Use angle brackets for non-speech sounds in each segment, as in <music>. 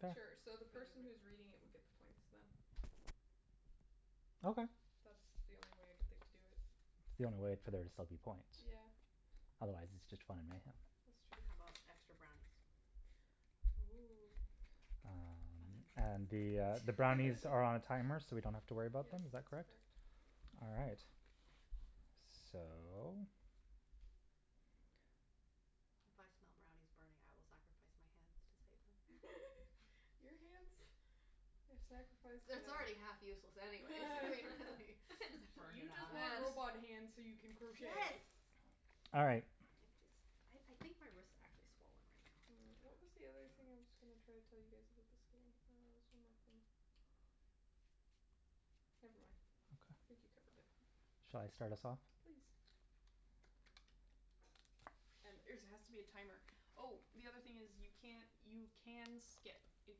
Sure. Sure, so the for the person who is recording reading it thing. would get the points, then. Okay. That's the only way I can think to do it. It's the only way for there to still be point. Yeah. Otherwise it's just fun and mayhem. That's true. How about extra brownies? Oh. Um, Fun and the, uh, the and <inaudible> brownies are on a timer so we don't <laughs> have to worry about Yes, them, is that that's correct? correct. All right. So. If I smell brownies burning, I will sacrifice my hands to save them. <laughs> Your hands have sacrificed It's it's enough. already half useless anyways <laughs> <laughs> Just burn You it just off. want robot hands so you can <laughs> <inaudible> Yes. crochet. All right. Like this, I I think my wrist actually swollen right now. Mm, I what don't was the other thing know. I was going to try to tell you guys about this game? Uh, there was one more thing. Never mind. I think you Okay. covered it. Shall I start us off? Please. And there's it has to be a timer. Oh, the other thing is, you can't you can skip. If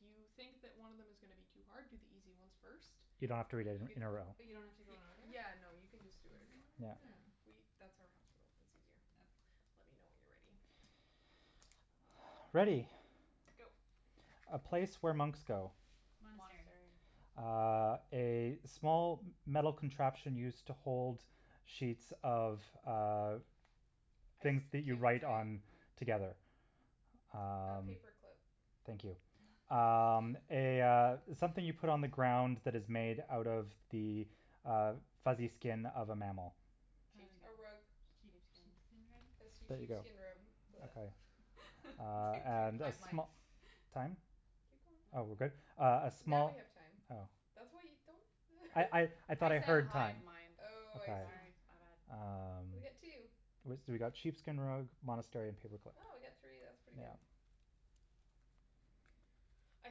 you think that one of them is gonna be too hard, do the easy ones first. You don't have to read it You can in a row. But you don't have to go in order? Yeah, no, you can just do whatever you want. Yeah. Yeah, Oh. we that's our house rule, it's easier. Okay. Let me know when you're ready. Ready. Go. A place where monks go. Monastery. Monastery. Uh, a small metal contraption used to hold sheets of, uh, things Ice that you cube write tray? on Oh. together. Oh. A Um. paper clip. Thank you. Um, <laughs> a, uh, something you put on the ground that is <noise> made out of the uh fuzzy skin of a mammal. Uh, A rug. sheep Sheepskin. sheepskin rug? A see There Sheepskin. you go. sheepskin rub. <noise> Okay. <laughs> Uh, Between three of and us a we Hive go it. mind. sm- time? Keep going. Oh, No. we're good? Uh a Now we small have time. Oh. That's why you don't I I <laughs> I thought I I said heard hive time. mind. Oh, I see. Sorry, my bad. Ah. Um, We got two. we got sheepskin rug, monastery and paperclip. Oh, we got three, that's pretty good. Mm. Yeah. I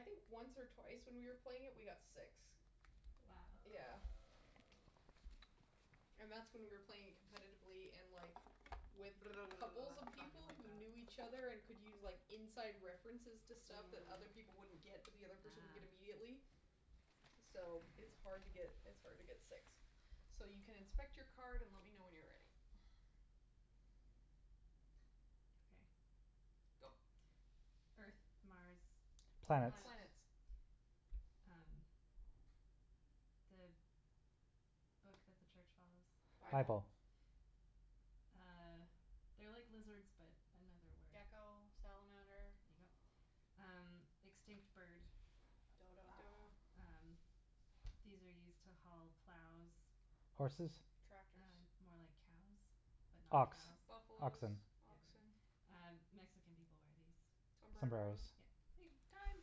think once or twice when we were playing it we got six. Wow. Yeah. Wow. And that's when we were playing it competitively and, like, with couples of <noise> Talking people like who that. knew each other and could use, like, inside references to stuff that other Mm. people wouldn't get but the other person would get Ah. immediately, so it's hard to get, it's hard to get six. So you can inspect your card and let me know when you're ready. Okay. Go. Earth, Mars, Venus. Planets. Planets. Planets. Um, the book that the church follows. Bible. Bible. Bible. Uh, they're like lizards but another word. Gecko, salamander. There you go. Um, extinct bird. Dodo. Dodo. Um, these are used to haul plows. Horses? Tractors. Uh more like cows but not Ox, cows. Buffalos, oxen. Yeah. oxen. Uh, Mexican people wear these. Sombreros. Sombreros. Yeah. <inaudible> Time.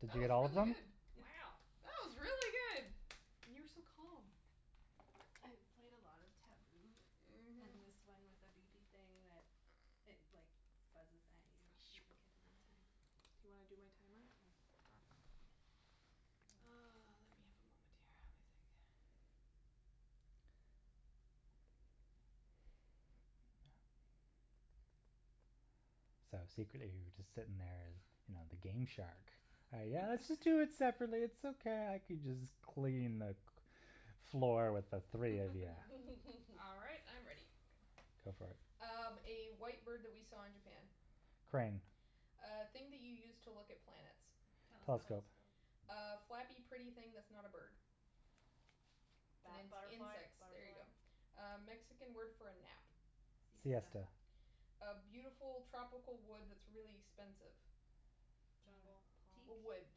Did That you get was all of really them? good. It's. Wow. That was really good. And you were so calm. I've played a lot of Taboo Mhm. and this one with a beepy thing that it, like buzzes at you if you don't get it <noise> in time. Do you wanna do my timer? Mm. Mm. Oh, let me have a moment here. Let me think. So, secretly you were just sitting there, you know, the game shark. Yeah, let's just do it separately, it's <laughs> okay, I can just clean the cl- floor with the three of you. <laughs> All right, I'm <laughs> ready. Go for it. Um, a white bird that we saw in Japan. Crane. A thing that you use to look at plants. Telescope. Telescope. Telescope. A flappy, pretty thing that's not a bird. It's Bat- ins- butterfly, insects, there you butterfly. go. A Mexican word for a nap. Siesta. Siesta. <inaudible> A beautiful tropical wood that's really expensive. Uh, Jungle, teak? palm? A wood,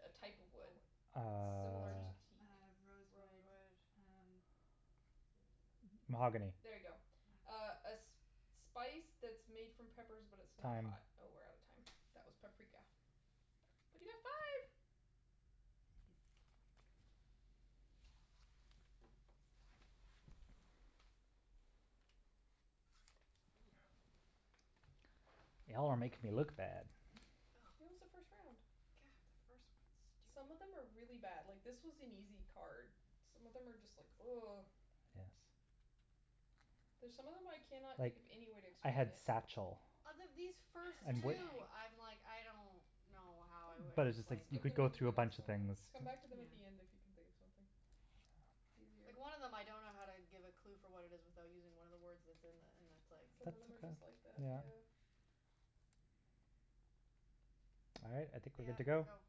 a type of Oh. wood. Uh. Similar Teak, to teak. uh, <noise> rosewood, Rosewood. uh. Mm. Mahogany. There you go. Ah. Oh. A a sp- spice that's made from peppers but it's not Time. hot. Oh, we're out of time. That was paprika. But you got five! Nice. Y'all are making me look bad. Oh. <laughs> It was the first round. God, first one's stupid. Some of them are really bad. Like, this was an easy card. Some of them are just like <noise> Yes. There's some of them I cannot think Like, of any way to I explain had it. satchel. Out of these first And wh- Man two, bag. I'm like, I don't know how I would But it's just like explain you them. Skip could them go and do through a then next bunch of one, then. things. Come back to them at Yeah. the end if you can think of something. It's easier. Yeah. Like, one of them I don't know how to give a clue for what it is without using one of the words that's in the, and it's like. Some of That's, them are yeah, just like that, yeah. yeah. All right, I think we're good Yeah, to go. go.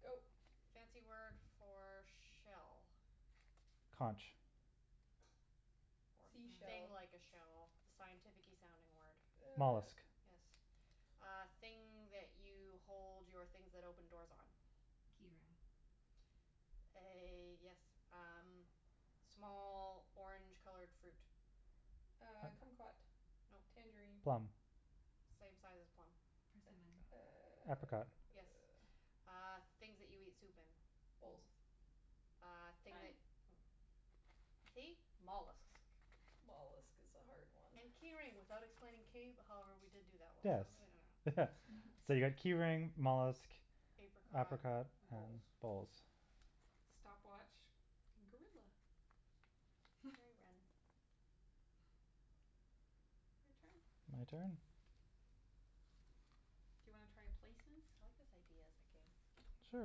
Go. Fancy word for shell. Conch. Or I thing Seashell. like a don't shell, the scientificky sounding word. Uh. Mollusk. Yes. Uh, thing that you hold your things that open doors on. Key ring. A, yes, um, small orange colored fruit. Uh, kumquat. No. Tangerine. Plum. Same size as a plum. Persimmon. Uh, Apricot. Yes. uh. Uh, things that you eat soup in. Bowls. Bowls. Uh, thing Time. that mm See? Mollusks. Mollusk is a hard one. And key ring without explaining cave- however, we did do that one <inaudible> I Yes. don't know. <laughs> So you got key <laughs> ring, mollusk, Apricot, apricot and bowls. bowls. Stopwatch, gorilla. Very random. <laughs> Your turn. My turn? Do you wanna try places? I like this idea as a game. It's Sure,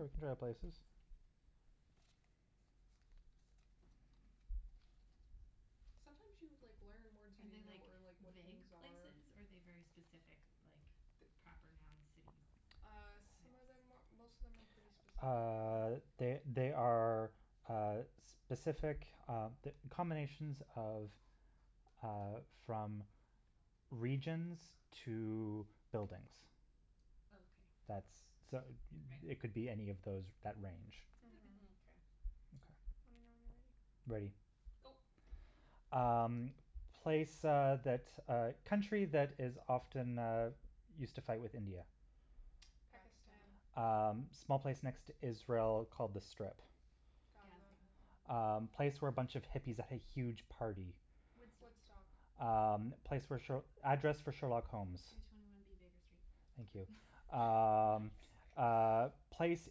we can try places. Sometimes you, like, learn words you Are they, didn't know like or, like, what vague things are. places or are they very specific, like, The the proper noun city Uh, types? some of them, most of them are pretty specific, Uh, yeah. they they are uh specific uh combinations of uh from regions to buildings. Okay. That's, so Right. it it could be any of those that range. Okay. Mhm. Mkay. Okay. Let Okay. me know when you're ready. Ready. Go. Um, place uh that, uh, country that is often used to fight with India. Pakistan. Pakistan. Um, small place next to Israel called The Strip. Gaza. Gaza. Um, Gaza. place where a bunch of hippies had a huge party. Woodstock. Woodstock. Um, place where sh- address for Sherlock Holmes. Two twenty one B Baker Street. Thank you. <laughs> Nice. Um, <laughs> uh, place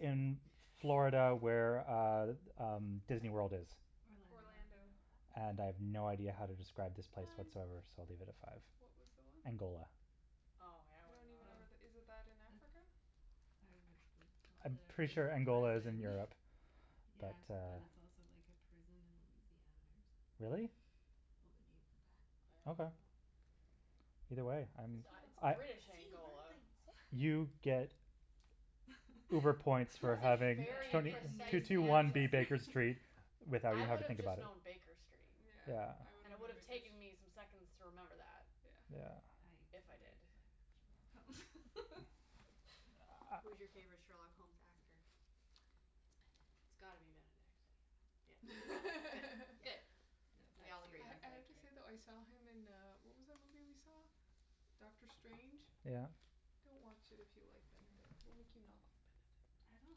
in Florida where uh, um, Disneyworld is. Orlando. Orlando. - ando And I have no idea how to describe this place Time. whatsoever, so I'll leave it at five. What was the one? Angola. Oh, yeah, I I don't wouldn't know even know that. where that, is that in Oh, Africa? that's. I would have called I'm it a pretty sure pri- Angola is in prison Europe, <laughs> but Yeah, but uh. it's also like a prison in Louisiana or something. Really? Well, they named it I don't Okay. know. that. Either way, I'm, Good It to it's I know. British See, you learn Angola. things. You get uber points for That's a <laughs> having Yeah, I very the get two precise nerd two one answer. points B Baker for. Street without I even having would to have think just about it. known Baker Street, Yeah. <inaudible> Yeah. and it would have taken me some seconds to remember that. Yeah. Yeah. I If I did. really like Sherlock Holmes. <laughs> Who's your favorite Sherlock Holmes actor? It's It's Benedict. gotta be Benedict, yeah. Good, good, Yeah, good, <laughs> no, we that's all agree series I then. is I have like to great. say, though, I saw him in, uh, what was that movie we saw? Doctor Strange? Yeah. Don't watch it if you like Benedict. It will make you not like I Benedict. don't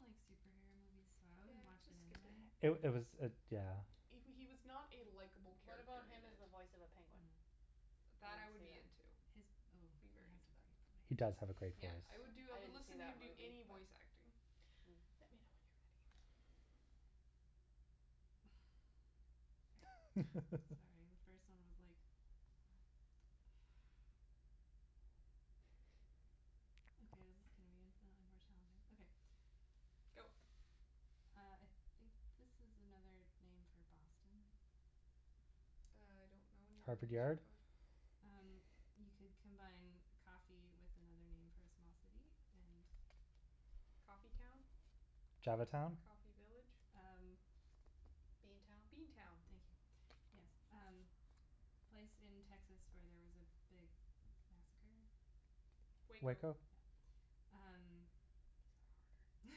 like superhero movies, so I wouldn't Yeah, watch just it skip it. anyway. It it was it, yeah. He w- he was not a likeable What about character in him as it. the voice of a penguin? Mm. Would That, I anyone would see be that? into. His, oh, Be he very has a into that. great He does have a voice. great voice. Yeah, I would do, I I I would didn't see listen to him that do movie, any but voice acting. Hmm. Let me know when you're ready. Sorry, the first one <laughs> was like, what? Okay, this is gonna be infinitely more challenging. Okay. Go. Uh, I think this is another name for Boston. I don't know any other Harvard names for Yard. Bo- Um, you could combine coffee with another name for a small city and. Coffee town? Java town? Coffee village? Um. Bean town? Bean town. Thank you, yes. Um, place in Texas where there was a big massacre. Waco. Waco? Yep. These These are are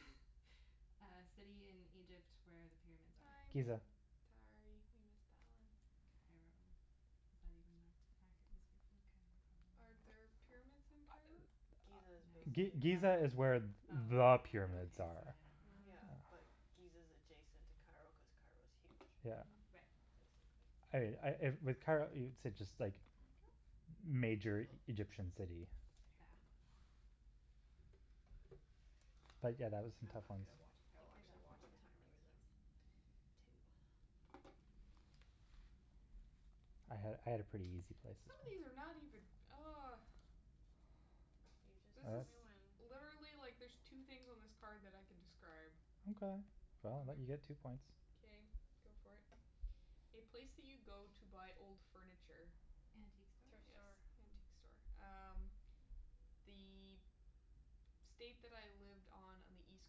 harder. Uh city in Egypt where the pyramids Time. are. Giza. Time. Sorry, you missed that one. Cairo. Is that even an accurate description of Cairo, probably Are there not. pyramids in Cairo? Giza is No. G- basically Giza Cairo. is where there Oh, are okay, pyramids so are. I don't Mm. Yeah, know. like, Giza is adjacent to Cairo cuz Cairo's huge, Yeah. Mhm. Right. basically. I I with Cairo, it's just like Thank you. major Egyptian city. Yeah. But, yeah, that was some I'm tough not ones. good at watch, I I will think I got actually <inaudible> watch what the how timer many this were time. those Two. I had I had a pretty easy places. Some of these are not even oh. You just This tell is me <inaudible> when. Literally, like, there's two things on this card that I can describe. Okay, well, I'll let you get two Okay. points. Okay, go for it. A place that you go to buy old furniture. Antique store? Thrift Yes, store. antique store. Um, the state that I lived on on the East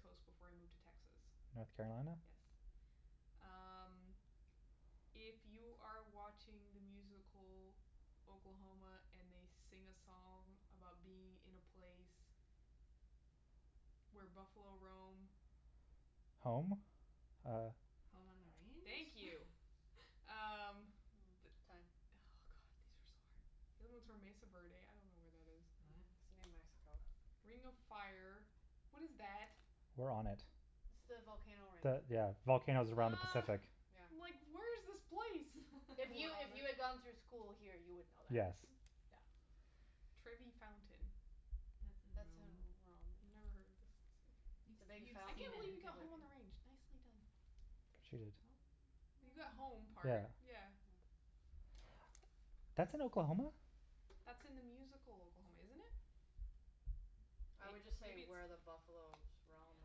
coast before I moved to Texas. North Carolina. Yes. Um, if you are watching the musical Oklahoma and they sing a song about being in a place where buffalo roam. Home? Uh. Home on the Thank range? you. Um. Mm time. Oh, god, these are so hard. The other ones were Mesa Verde. I don't know where that is. Oh. Mhm. It's New Mexico. Ring of Fire. What is that? We're on it. It's the volcano ring. The, yeah, volcanoes around the Oh. Pacific. Yeah. I'm like where's this place? If You you are on if it. you had gone through <laughs> school here, you would know that. Yes. Yeah. Trevi Fountain. That's in That's in Rome. Rome, Never yeah. heard of this. See. You've, It's a big you've I can't seen fountain it with believe you in <inaudible> got Home on pictures. the Range. Nicely done. She did. You got home Yeah. part, yeah. Hmm. That's in Oklahoma? That's in the musical Oklahoma, isn't it? I would just say Maybe it's where the buffalos roam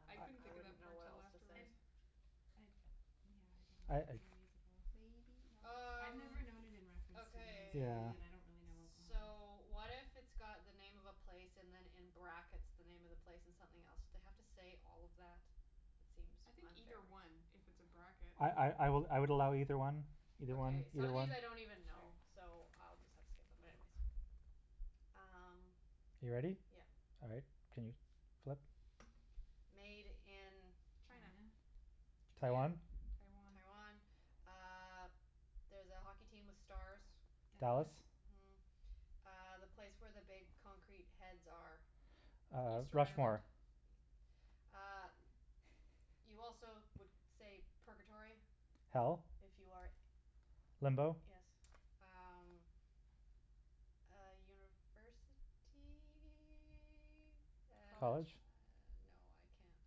and I couldn't then I think of wouldn't that know part what till else to I afterwards. say. I, yeah, I don't I know if it's uh in the musical. Maybe I've not. Um, never known it in reference to the musical, Yeah. okay. but I don't really know Oklahoma. So, what if it's got the name of a place and then in brackets, the name of the place and something else. <inaudible> have to say all of that? It seems I think unfair. either one if it's a bracket. I I I I would I would allow either one, either one, Okay. Some either of one. these I don't even know, Sure. so I'll just have to skip them, but anyways. Um. You ready? Yeah. All right, can you flip? Made in. China. China? Japan, Taiwan? Taiwan. Taiwan. Uh there's a hockey team with stars. Dallas. Dallas. Mhm. Uh, the place where the big concrete heads are. Uh, Easter Island. Rushmore. E- uh, you also would say purgatory Hell? if you are Limbo Yes. Um, uh university. And uh College? College? no, I can't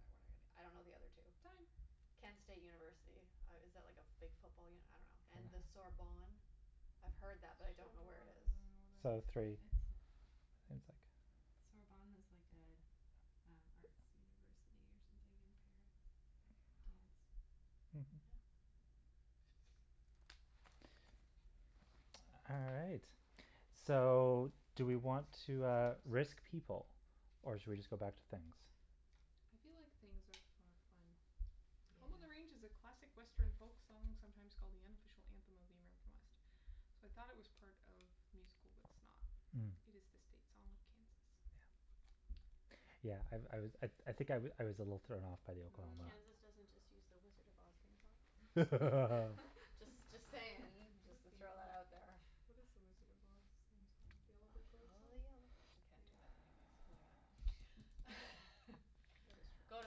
<inaudible> I don't know the other two. Time. Kent State University. Uh is that like a big football uni- I don't know. And the Ah. Sorbonne. I've heard that, Sorbonne. I but I don't don't know where it is. even know where So, that is. three. It's. It's like Sorbonne is like a an arts university or something in Paris. Wow. Dance. Mhm. Yeah. <noise> All right, so do we want to, uh, risk people or should we just go back to things? I feel like things are for fun. Home on the Range is a Yeah. classic Western folk song sometimes called the unofficial anthem of the American West. So, I thought it was part of musical, but it's not. Mm. It is the state song of Kansas. Yeah. Yeah, I I was, I I think I I was a little thrown off by the Mm. Oklahoma. Kansas doesn't just use the Wizard of Oz theme song? <laughs> Just just saying, <laughs> just <inaudible> to throw that out there. theme? What is the Wizard of Oz theme song? The I Yellow Brick Road follow song? the yellow brick- we can't do that anyways, moving on. That is <laughs> true. Go to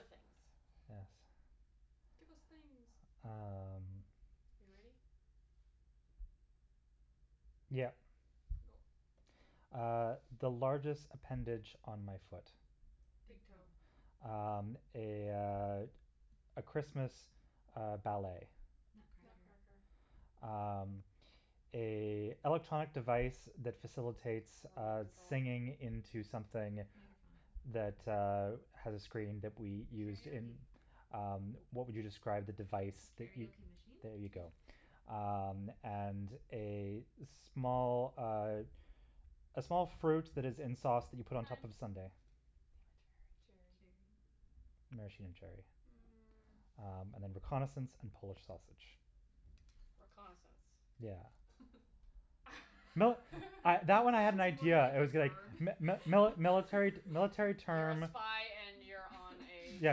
things. Yes. Give us things. Um. Are you ready? Yep. Go. Uh, the largest appendage on my foot. Big Big toe. toe. Um, a, uh, a Christmas, uh, ballet. Nutcracker. Nutcracker. Nutcracker. Um, a electronic device that facilitates Remote uh control. singing into something Microphone. that, uh, Hmm. has a screen that we used in. Karaoke. Um, what would you describe the device that you. Karaoke machine? There you go. Um, and a small, uh, a small fruit that is in sauce that you put on top Time. of a sundae. Damn it. Cherry. Cherry. Maraschino cherry. Hmm. Mm. Um and then reconnaissance and Polish sausage. Reconnaissance? Yeah. <laughs> No, I That that that one I had an sounds more idea. like I a was <laughs> going verb. <laughs> mi- <noise> mi- mili- military military You're a term. spy and you're on a Yeah,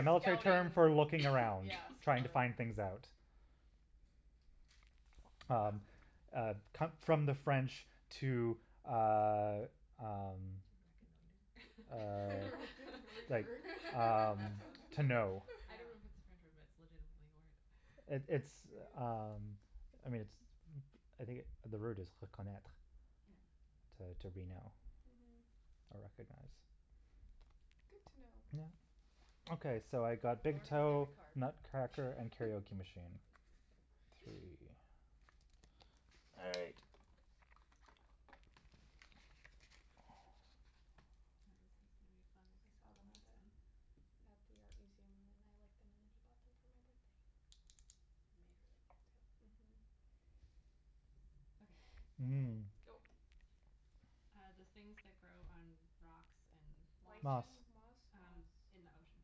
military term scouting, for looking around, yeah, trying to scouting. find things out. Well. Um, uh, come from the French to, uh, um, To uh, <laughs> reconnoiter. like, <inaudible> <laughs> um, <laughs> Reconnaitre. <laughs> to know. I Yeah. don't know if it's a French word, but it's legitimately a word. It That's pretty it's, good. um, I mean, it's, I think the word is reconnaitre Yeah. Mhm. to to Yeah. reknow Mhm. or recognize. Good to know. Yeah. Okay, so I got big Learning with toe, every card. Nutcracker and karaoke machine. <laughs> Three. <laughs> All right. These are cool. This Aren't one's gonna be they? fun I except for saw the them at last one. the, at the art museum and then I liked them and then he bought them for my birthday. They're made really well, too. Mhm. Okay, ready. Mm. Go. Uh, the things that grow on rocks and. Moss. Moss. Lichen, moss? Moss. Um, in the ocean.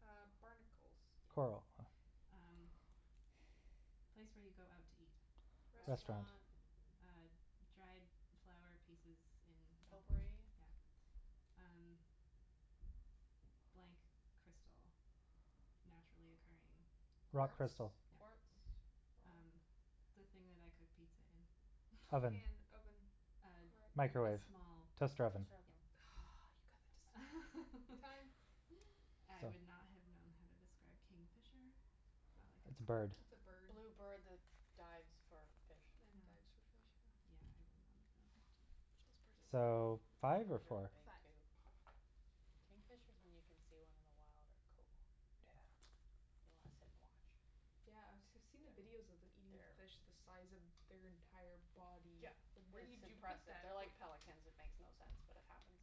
Uh, barnacles. Yes. Coral. Um, place where you go out to eat. Restaurant. Restaurant. Restaurant. Uh, dried flower pieces in a bowl. Potpourri. Yeah. Um, blank crystal. Naturally occurring. Rock Quartz? Quartz, crystal. quartz, Yeah. rock? Um, the thing that I cook pizza in. A Oven. pan, oven, Um, rack. a Microwave, small. toaster oven. Toaster Yeah. oven. Hmm Oh, you got that just in time. Time. <laughs> I So. would not have known how to describe kingfisher. Is that like It's a bird. It's a a? bird. Blue bird that dives for fish. And Ah. dives for fish, yeah. Yeah, I would not have known how to. Those birds are So, really cool. five or Really four? big, Five. too. Kingfishers, when you can see one in the wild, are cool. Yeah. You wanna sit and watch. Yeah, I've <inaudible> I've seen the videos of them eating fish the size of their entire body. Yeah, It's like where it's did you put impressive. that? They're like pelicans; it makes no sense, but it happens.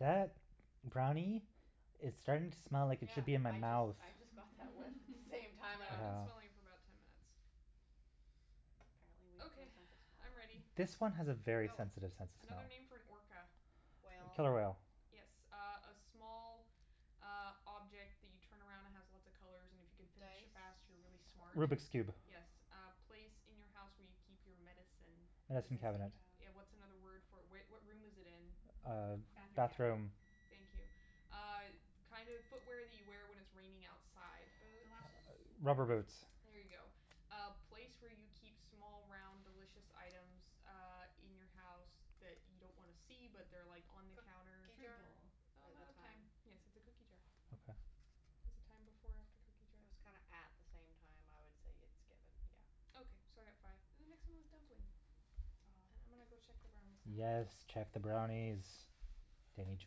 That brownie is starting to smell like it Yeah, should be in my I just mouth. I just got that whiff at the same Mm. <laughs> time, I I've went. been Ah. smelling it for about ten minutes. Apparently, we have no Okay, sense of smell. I'm ready. This one has a very Go. sensitive sense of smell. Another name for an orca. Whale. Killer whale. Yes. Uh a small, uh, object that you turn around and has lots of colors and if you can finish it Dice? fast, you're really smart. Rubik's Cube. Yes. Hmm. A place in your house where you keep your medicine. Medicine Medicine Medicine cabinet. cabinet. Yeah, what's another word cabinet. for it? Where what room is it in? Uh, Bathroom cabinet. bathroom. Thank you. Uh kind of footwear that you wear when it's raining outside. Galoshes, Boots. Rubber rubber boots. boots. There you go. Uh place where you keep small, round, delicious items uh in your house that you don't wanna see, but they're like on the counter. Cookie Fruit jar? bowl. Oh, I'm The out the of time. time. Yes, it's a cookie jar. Oh. Okay. Was the time before or after cookie jar? It was kinda at the same time. I would say it's given, yeah. Okay, so I got five. And the next one was dumpling. And Oh. I'm gonna go check the brownies now. Yes, check the brownies. They need to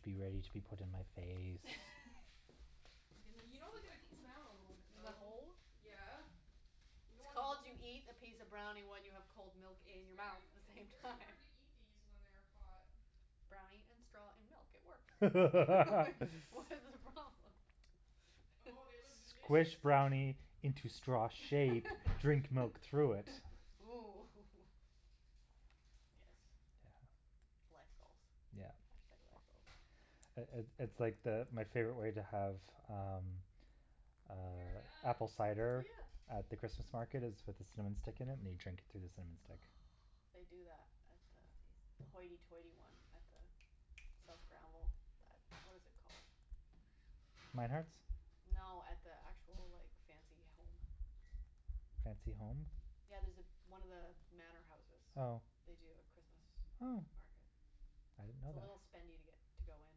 be ready to be put in my face. <laughs> I'm gonna You know they see gotta what these cool down a people little, look The like. though. hole? Yeah. You don't It's want called you molten eat a piece of brownie when you have cold milk It's in your mouth very at h- the it's same very time. hard to eat these when they're hot. Brownie and straw and milk, it works <laughs> Like, what's the <laughs> problem? <laughs> Oh, they look delicious. Squish brownie into straw shape, drink milk through it. <laughs> Ooh hoo hoo Yes. Yeah. Life goals. Yeah. Hashtag life goal. It it it's like the, my favorite way to have um, They are uh, done. apple cider Yeah. at the Christmas market is with a cinnamon stick in it and you drink it through the cinnamon stick. Oh, they do that at the Sounds the tasty. hoity-toity one at the South Granville, that what is it called? Mynard's? No, at the actual, like, fancy home. Fancy home? Yeah, there's one of the manor houses, Oh. they do a Christmas Oh. market. I didn't know It's a that. little spendy to get to go in.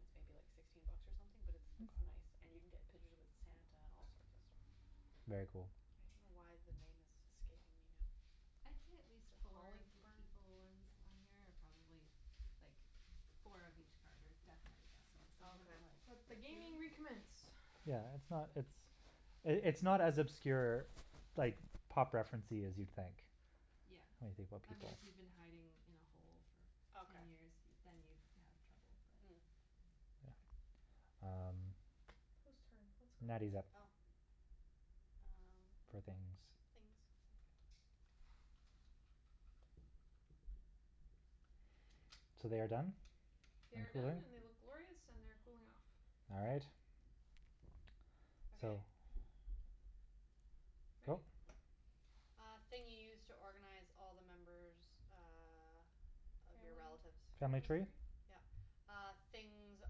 It's maybe like sixteen bucks or something, but it's it's nice and Okay. you can get pictures with Santa and all sorts of stuff. Very cool. I don't know why the name is escaping me now. I'd say at Is least it four of the Hollyburn? people ones on here are probably like four of each card are definitely guessable, some of them are Okay. like, Let the hmm? gaming recommence. Yeah, it's not, it's, it's not as obscure, like, pop referencey as you'd think Yeah. when you think about I mean, people. if you've been hiding in a hole for ten Okay. years, then you'd have trouble, but. Mm. Yeah. Kay. Um, Who's turn? What's going Natty's up Oh. <inaudible> Um, for things, things. okay. So they are done They and are done cooling? and they look glorious and they're cooling off. All right. So. Okay. Ready? Go. <noise> Uh thing you use to organize all the members uh of your Family relatives. Family family tree? tree? Yeah. Uh, things,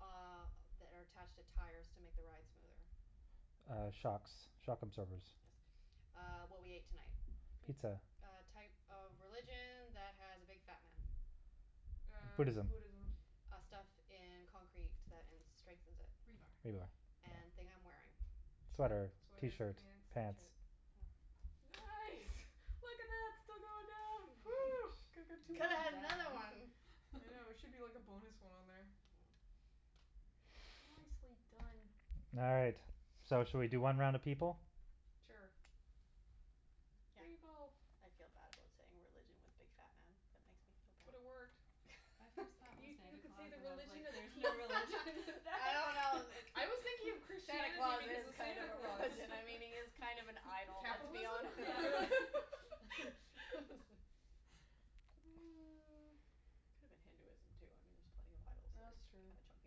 uh, that are attached to tires to make the ride smoother. Uh, shocks, shock absorbers. Yes. Uh, what we ate tonight. Pizza. Pizza. A type of religion that has a big fat man. Uh, Buddhism. Buddhism. Uh, stuff in concrete that in strengthens it. Rebar. Rebar, yeah. And thing I'm wearing. Shirt, Sweater, sweater, t-shirt, pants. pants. t-shirt, yeah. Nice! Look at that, still going down. Phew. <laughs> Could've Well had another done. one. <laughs> I know, there should be like a bonus one on there. Mm. Nicely done. All right, so should we do one round of people? Sure. Yeah. People. I feel bad about saying religion with big fat man. That makes me feel bad. But it worked. My first thought was You you Santa could say Claus the and I was like religion of there's no peace. religion for <laughs> I that. don't know, it I was thinking of Santa Christianity Claus because is of kind Santa of a Claus. religion, I mean, he is kind of an idol, let's be honest. <laughs> Capitalism? Yeah, really <laughs> <laughs> <laughs> Could've been Hinduism, too, I mean, there are plenty of idols that That's are true. kind of chunky